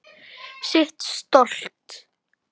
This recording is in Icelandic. Sitt stolt.